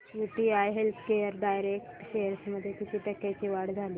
UTI healthcare direct shares मध्ये किती टक्क्यांची वाढ झाली